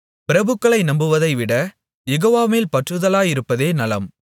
பிரபுக்களை நம்புவதைவிட யெகோவா மேல் பற்றுதலாயிருப்பதே நலம்